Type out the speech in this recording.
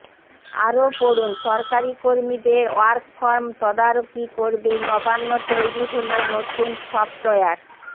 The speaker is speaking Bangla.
আরও পড়ুন সরকারী কর্মীদের ওয়ার্ক ফ্রম তদারকি করবে নবান্ন তৈরী হল নতুন সফটওয়্যার